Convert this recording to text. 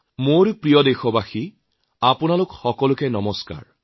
মোৰ শ্ৰদ্ধাৰ দেশবাসী আপোনালোক সকলোলৈকে নমস্কাৰ